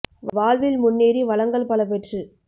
வாழ்வில் முன்னேறி வளங்கள்பல பெற்று